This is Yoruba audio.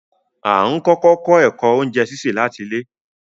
Á n kọkọ kọ ẹ̀kọ ọ̀unjẹ síṣẹ lati ilẹ̀